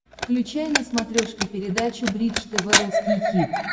включай на смотрешке передачу бридж тв русский хит